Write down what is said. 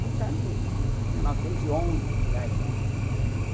Portanto, mil novecentos e onze, por aí, né?